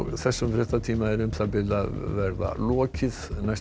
þessum fréttatíma er lokið næstu